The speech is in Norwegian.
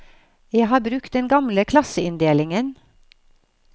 Jeg har brukt den gamle klasseinndelingen.